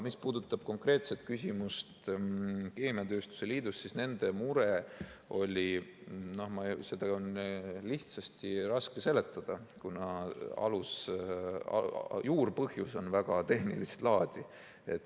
Mis puudutab konkreetset küsimust keemiatööstuse liidu kohta, siis nende muret on lihtsasti raske seletada, kuna alus, juurpõhjus on väga tehnilist laadi.